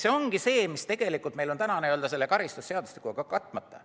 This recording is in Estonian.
See ongi see, mis meil on täna karistusseadustikuga katmata.